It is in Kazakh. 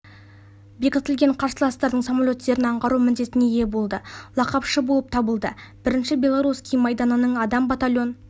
бекітілген қарсыластардың самолеттерін аңғару міндетіне ие болды лақапшы болып табылды бірінші белоруский майданының адам батальон